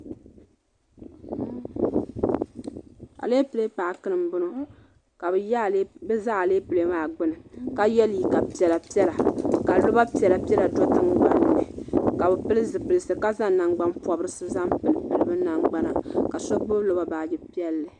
Aleple paaki ni n bɔŋɔ ka bi za aleple maa gbuni ka yiɛ liiga piɛlla piɛlla ka loba piɛlla piɛlla do tiŋgbanni ka bi pili zupilisi ka zaŋ nangbani pɔbi bi nangbana ka so gbubi lɔba baaji piɛlli.